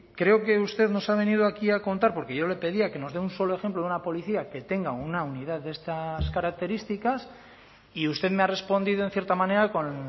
creo que usted nos ha venido aquí a contar porque yo le pedía que nos dé un solo ejemplo de una policía que tenga una unidad de estas características y usted me ha respondido en cierta manera con